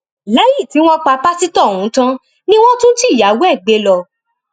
lẹyìn tí wọn pa pásítọ ọhún tán ni wọn tún jí ìyàwó ẹ gbé lọ